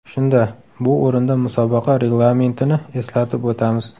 Shunda: Bu o‘rinda musobaqa reglamenti ni eslatib o‘tamiz.